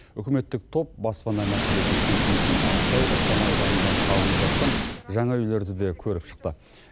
үкіметтік топ баспана мәселесін шешу үшін ақсай ықшам ауданында салынып жатқан жаңа үйлерді де көріп шықты